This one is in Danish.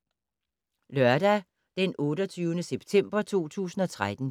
Lørdag d. 28. september 2013